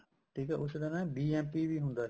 ਠੀਕ ਏ ਉਸ ਤਰ੍ਹਾਂ ਨਾ BMP ਵੀ ਹੁੰਦਾ